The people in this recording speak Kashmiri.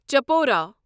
چپورا